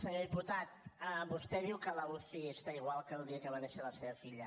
senyor diputat vostè diu que la uci està igual que el dia que va néixer la seva filla